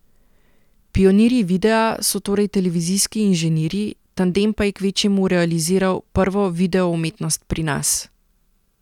Pionirji videa so torej televizijski inženirji, tandem pa je kvečjemu realiziral prvo videoumetnost pri nas.